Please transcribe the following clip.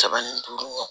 Saba ni duuru